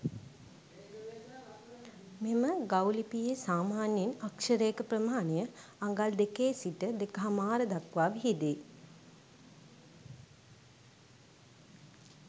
මෙම ගව් ලිපියේ සාමාන්‍යයෙන් අක්ෂරයක ප්‍රමාණය අඟල් දෙකේ සිට දෙකහමාර දක්වා විහිදේ.